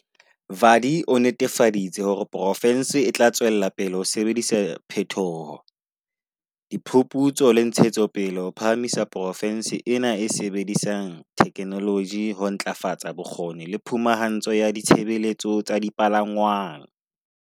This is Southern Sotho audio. Vadi o netefaditse hore poro fense e tla tswella ho sebedisa phethoho, diphuphutso le ntshetsopele ho phahamisa porofense e e sebedisang theke noloji ho ntlafatsa bokgoni le phumahantsho ya ditshebeletso tsa dipalangwang.